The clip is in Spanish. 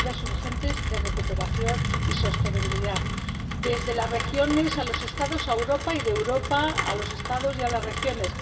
medidas urgentes de recuperación y sostenibilidad, desde las regiones a los Estados y a Europa, y de Europa a los Estados y a las regiones